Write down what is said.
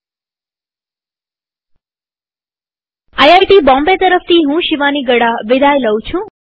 IIT Bombay તરફથી હું શિવાની ગડા વિદાય લઉં છુંટ્યુ્ટોરીઅલમાં ભાગ લેવા આભાર